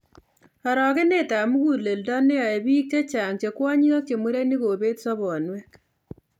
Arogenetab muguleldo neyoe biik chechang' che kwonyik ak murenik kobeet sobonwek